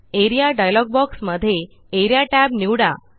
A R E A dialog box मध्ये Area tab निवडा